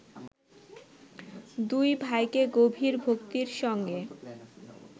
দুই ভাইকে গভীর ভক্তির সঙ্গে